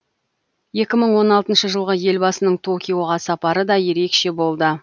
екі мың он алтыншы жылғы елбасының токиоға сапары да ерекше болды